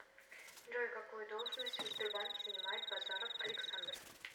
джой какую должность в сбербанке занимает базаров александр